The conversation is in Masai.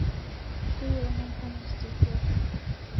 Keyieuni enkanyit te siasa